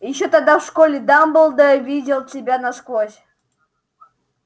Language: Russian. ещё тогда в школе дамблдор видел тебя насквозь